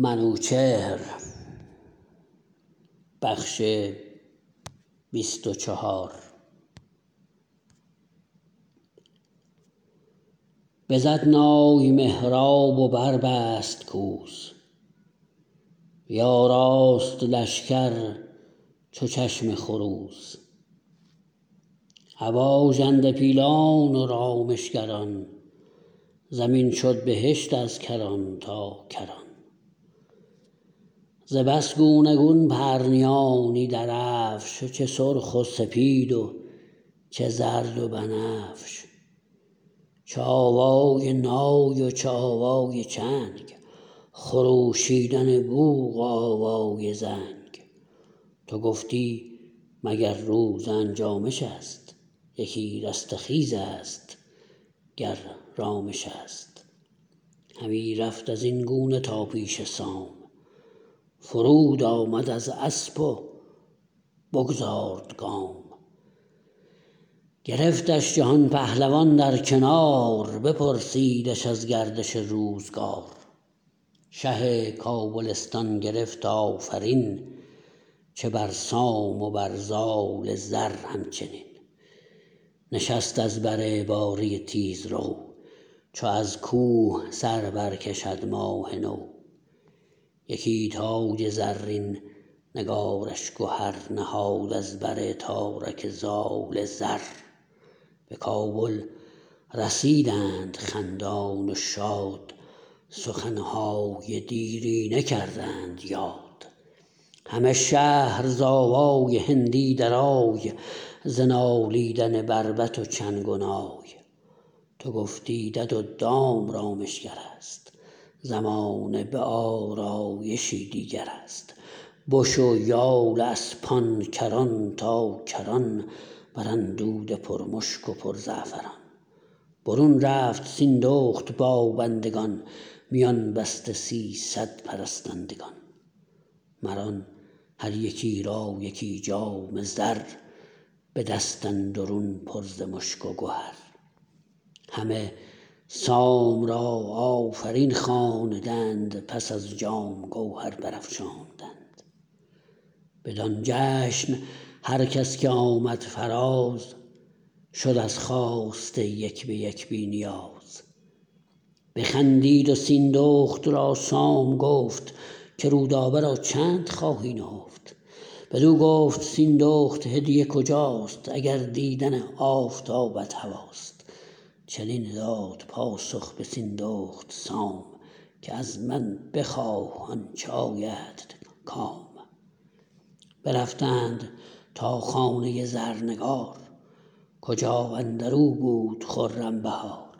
بزد نای مهراب و بربست کوس بیاراست لشکر چو چشم خروس ابا ژنده پیلان و رامشگران زمین شد بهشت از کران تا کران ز بس گونه گون پرنیانی درفش چه سرخ و سپید و چه زرد و بنفش چه آوای نای و چه آوای چنگ خروشیدن بوق و آوای زنگ تو گفتی مگر روز انجامش است یکی رستخیز است گر رامش است همی رفت ازین گونه تا پیش سام فرود آمد از اسپ و بگذارد گام گرفتش جهان پهلوان در کنار بپرسیدش از گردش روزگار شه کابلستان گرفت آفرین چه بر سام و بر زال زر همچنین نشست از بر باره تیزرو چو از کوه سر برکشد ماه نو یکی تاج زرین نگارش گهر نهاد از بر تارک زال زر به کابل رسیدند خندان و شاد سخنهای دیرینه کردند یاد همه شهر ز آوای هندی درای ز نالیدن بربط و چنگ و نای تو گفتی دد و دام رامشگرست زمانه به آرایشی دیگرست بش و یال اسپان کران تا کران بر اندوده پر مشک و پر زعفران برون رفت سیندخت با بندگان میان بسته سیصد پرستندگان مر آن هر یکی را یکی جام زر به دست اندرون پر ز مشک و گهر همه سام را آفرین خواندند پس از جام گوهر برافشاندند بدان جشن هر کس که آمد فراز شد از خواسته یک به یک بی نیاز بخندید و سیندخت را سام گفت که رودابه را چند خواهی نهفت بدو گفت سیندخت هدیه کجاست اگر دیدن آفتابت هواست چنین داد پاسخ به سیندخت سام که ازمن بخواه آنچه آیدت کام برفتند تا خانه زرنگار کجا اندرو بود خرم بهار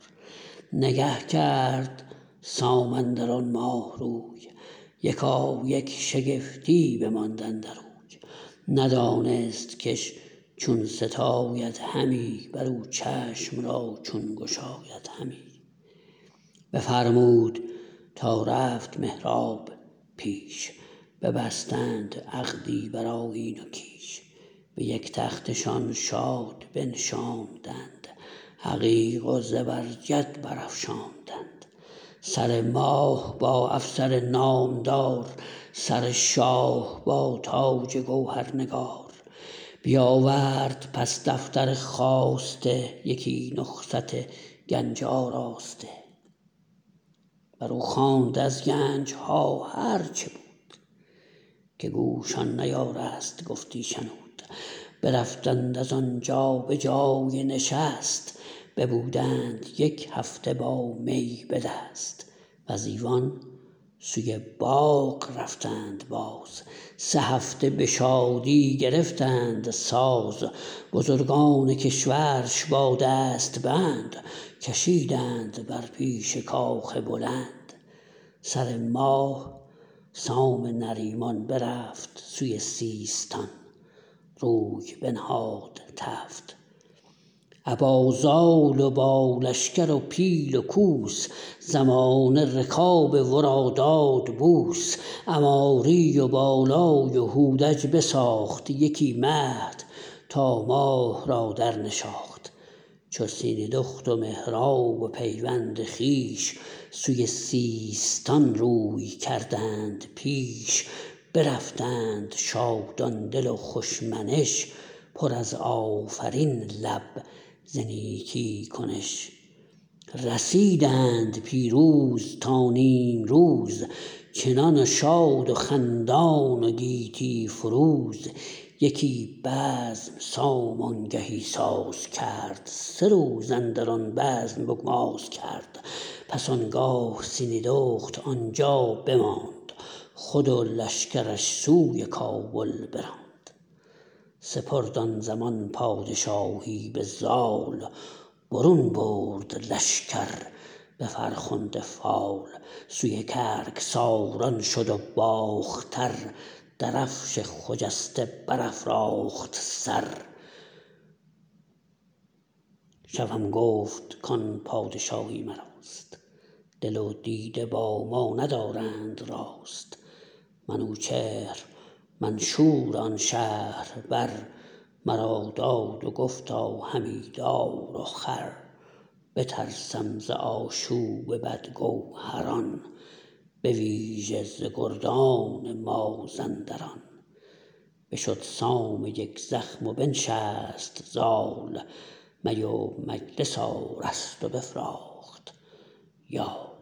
نگه کرد سام اندران ماه روی یکایک شگفتی بماند اندروی ندانست کش چون ستاید همی برو چشم را چون گشاید همی بفرمود تا رفت مهراب پیش ببستند عقدی برآیین و کیش به یک تختشان شاد بنشاندند عقیق و زبرجد برافشاندند سر ماه با افسر نام دار سر شاه با تاج گوهرنگار بیاورد پس دفتر خواسته یکی نسخت گنج آراسته برو خواند از گنجها هر چه بود که گوش آن نیارست گفتی شنود برفتند از آنجا به جای نشست ببودند یک هفته با می به دست وز ایوان سوی باغ رفتند باز سه هفته به شادی گرفتند ساز بزرگان کشورش با دست بند کشیدند بر پیش کاخ بلند سر ماه سام نریمان برفت سوی سیستان روی بنهاد تفت ابا زال و با لشکر و پیل و کوس زمانه رکاب ورا داد بوس عماری و بالای و هودج بساخت یکی مهد تا ماه را در نشاخت چو سیندخت و مهراب و پیوند خویش سوی سیستان روی کردند پیش برفتند شادان دل و خوش منش پر از آفرین لب ز نیکی کنش رسیدند پیروز تا نیمروز چنان شاد و خندان و گیتی فروز یکی بزم سام آنگهی ساز کرد سه روز اندران بزم بگماز کرد پس آنگاه سیندخت آنجا بماند خود و لشکرش سوی کابل براند سپرد آن زمان پادشاهی به زال برون برد لشکر به فرخنده فال سوی گرگساران شد و باختر درفش خجسته برافراخت سر شوم گفت کان پادشاهی مراست دل و دیده با ما ندارند راست منوچهر منشور آن شهر بر مرا داد و گفتا همی دار و خوار بترسم ز آشوب بد گوهران به ویژه ز گردان مازنداران بشد سام یکزخم و بنشست زال می و مجلس آراست و بفراخت یال